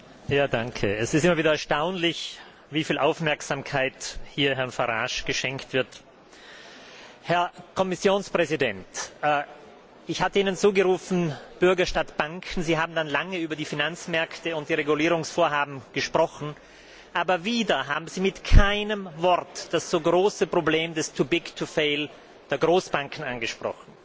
Herr Präsident! Es ist ja wieder erstaunlich, wie viel Aufmerksamkeit Herrn Farage geschenkt wird. Herr Kommissionspräsident, ich hatte Ihnen zugerufen Bürger statt Banken, Sie haben dann lange über die Finanzmärkte und die Regulierungsvorhaben gesprochen. Aber wieder haben Sie mit keinem Wort das so große Problem des too big to fail der Großbanken angesprochen.